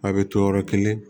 A bɛ to yɔrɔ kelen